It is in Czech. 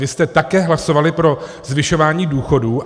Vy jste také hlasovali pro zvyšování důchodů.